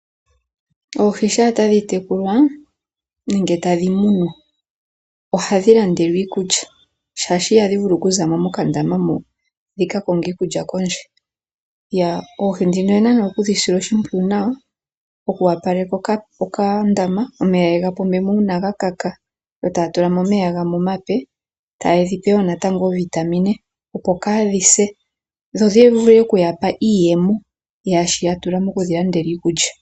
Oohi shaa tadhi tekulwa nenge tadhi munwa ohadhi landelwa iikulya, shaashi ihadhi vulu okuza mo mokandama mo dhi ka konge iikulya kondje. Oohi ndhino oye na nee oku dhi sila oshimpwiyu nawa, oku opaleka okandama omeya ye ga pombe mo uuna ga kaka. Yo taya tula mo omeya gamwe omape. Yo taye dhi pe wo natango oovitamine, opo kaa dhi se dho dhi vule oku ya pa iiyemo yaa shi ya tula moku dhi landela iikulya.